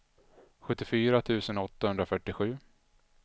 sjuttiofyra tusen åttahundrafyrtiosju